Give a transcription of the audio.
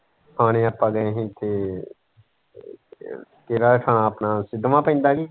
ਥਾਣੇ ਆਪਾਂ ਗਏ ਹੀ ਤੇ ਕਿਹੜਾ ਥਾਂ ਹੈ ਆਪਣਾ ਸਿੱਦਵਾਂ ਪਿੰਡ ਹੈ।